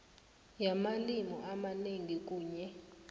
yamalimi amanengi kunye